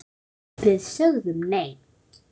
Við sögðum nei!